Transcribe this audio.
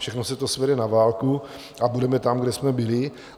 Všechno se to svede na válku a budeme tam, kde jsme byli.